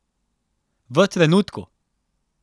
V trenutku!